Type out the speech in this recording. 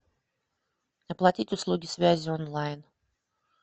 оплатить услуги связи онлайн